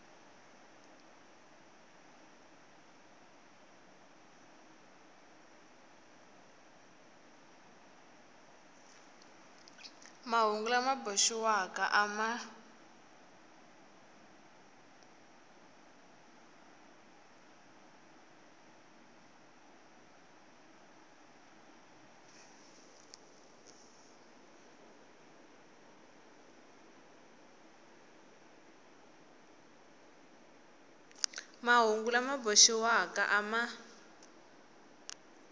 mahungu lama boxiwaka a ma